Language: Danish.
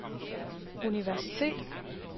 universitetet